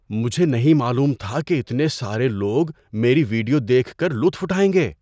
مجھے نہیں معلوم تھا کہ اتنے سارے لوگ میری ویڈیو دیکھ کر لطف اٹھائیں گے!